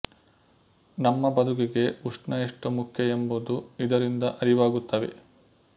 ನಮ್ಮ ಬದುಕಿಗೆ ಉಷ್ಣ ಎಷ್ಟು ಮುಖ್ಯ ಎಂಬುದು ಇದರಿಂದ ಅರಿವಾಗುತ್ತವೆ